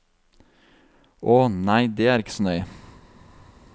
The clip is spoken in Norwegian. Å, nei det er ikke så nøye.